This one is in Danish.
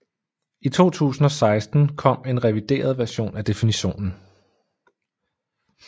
I 2016 kom en revideret version af definitionen